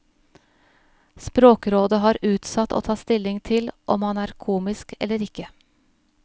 Språkrådet har utsatt å ta stilling til om han er komisk eller ikke.